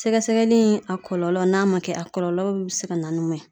Sɛgɛsɛgɛli in ,a kɔlɔlɔ n'a ma kɛ a kɔlɔlɔw be se ka na ni mun ye?